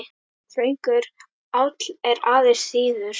Þröngur áll er aðeins þíður.